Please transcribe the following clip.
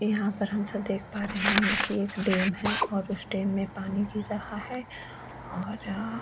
यहाँ पर हम सब देख पा रहे है की एक डेम है और उस डेम में पानी गिर रहा है और अअ--